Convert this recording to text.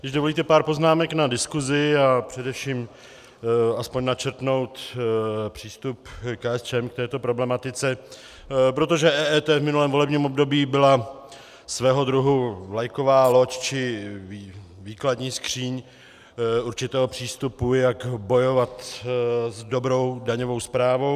Když dovolíte pár poznámek na diskusi a především aspoň načrtnout přístup KSČM k této problematice, protože EET v minulém volebním období bylo svého druhu vlajková loď či výkladní skříň určitého přístupu, jak bojovat za dobrou daňovou správu.